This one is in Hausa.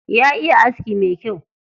Ya iya aski me kyau.